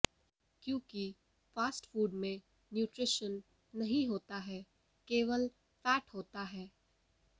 क्योंकि fast food में nutrition नहीं होता है केवल फैट होता है